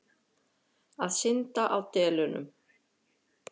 Að synda á delunum.